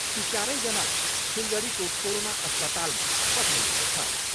ती चारैजनालाई सिलगढीको कोरोना अस्पतालमा पठाइएको छ।